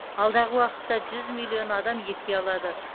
алдағы уақытта жүз миллион адам екпе алады